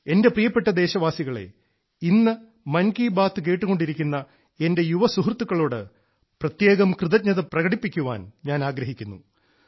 എന്റെ പ്രിയപ്പെട്ട ദേശവാസികളെ ഇന്ന് മൻകി ബാത്ത് കേട്ടുകൊണ്ടിരിക്കുന്ന എന്റെ യുവ സുഹൃത്തുക്കളോട് പ്രത്യേകം കൃതജ്ഞത പ്രകടിപ്പിക്കുവാൻ ഞാൻ ആഗ്രഹിക്കുന്നു